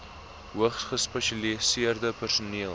hoogs gespesialiseerde personeel